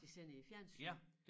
De sender i æ fjernsyn